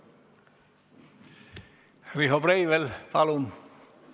Riho Breivel, palun!